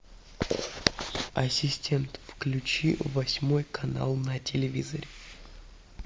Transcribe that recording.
ассистент включи восьмой канал на телевизоре